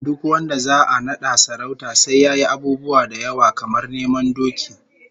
Duk wanda za'a nada sarauta sai yayi abubuwa da yawa, kamar neman doki